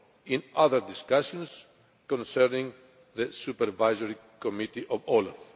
in other discussions concerning the Supervisory Committee of OLAF.